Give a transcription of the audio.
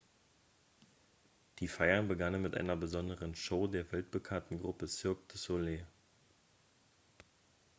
die feiern begannen mit einer besonderen show der weltbekannten gruppe cirque du soleil